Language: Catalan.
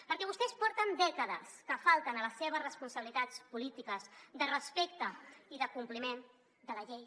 perquè vostès porten dècades que falten a les seves responsabilitats polítiques de respecte i de compliment de la llei